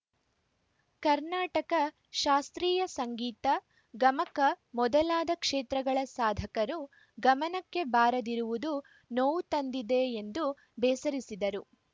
ಕರ್ನಾಟಕ ಶಾಸ್ತ್ರೀಯ ಸಂಗೀತ ಗಮಕ ಮೊದಲಾದ ಕ್ಷೇತ್ರಗಳ ಸಾಧಕರು ಗಮನಕ್ಕೆ ಬಾರದಿರುವುದು ನೋವು ತಂದಿದೆ ಎಂದು ಬೇಸರಿಸಿದರು